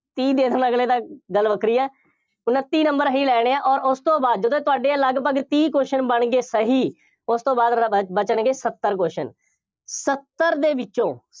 ਤੀਹ ਦੇ ਦੇਣ ਅਗਲੇ ਤਾਂ ਗੱਲ ਵੱਖਰੀ ਹੈ, ਉਨੱਤੀ number ਹੀ ਲੈਣੇ ਆ, ਅੋਰ ਉਸ ਤੋਂ ਬਾਅਦ ਜਦੋਂ ਤੁਹਾਡੇ ਲਗਭਗ ਤੀਹ question ਬਣ ਗਏ ਸਹੀ, ਉਸ ਤੋਂ ਬਾਅਦ ਵਾਲੇ ਬਚ ਬਚਣਗੇ ਸੱਤਰ question ਸੱਤਰ ਦੇ ਵਿੱਚੋਂ